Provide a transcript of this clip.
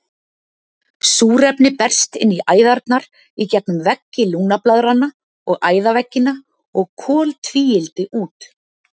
Súrefni berst inn í æðarnar í gegnum veggi lungnablaðranna og æðaveggina og koltvíildi út.